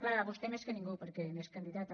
clar vostè més que a ningú perquè n’és candidata